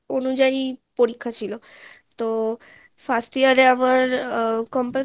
অনুযায়ী পরীক্ষা ছিলো তো first year এ আবার আহ compulsory